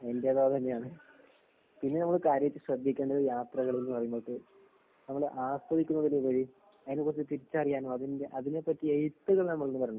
എന്റേതും അതന്നെയാണ്. പിന്നെ നമ്മള് കാര്യായിട്ട് ശ്രദ്ധിക്കേണ്ടത് യാത്രകള്ന്ന് പറയുമ്പൊക്കെ നമ്മള് ആസ്വദിക്കുന്നതിലുപരി അതിനെക്കുറിച്ച് തിരിച്ചറിയാനോ അതിന്റെ അതിനെപ്പറ്റി എഴുത്തുകള് നമ്മളീന്ന് വരണം.